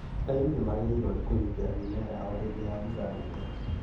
Arĩmi nĩmagĩrĩirwo nĩ kũgitĩra mĩmera yao hĩndĩ ya mbura nene